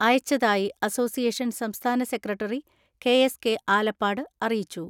അയച്ചതായി അസോസിയേഷൻ സംസ്ഥാന secretary K S K Alappad അറിയിച്ചു.